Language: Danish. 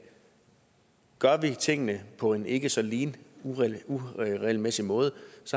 gør vi tingene på en ikke så lige og uregelmæssig måde